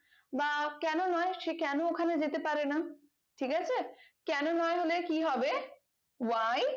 বা কেন নয় সে কেন ওখানে যেতে পারে না ঠিক আছে কেন নয় হলে কি হবে why